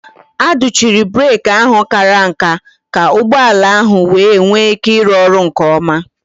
A dochiri breeki ahụ kàrà nká ka ụgbọ ala ahụ wee nwee ike ịrụ ọrụ nke ọma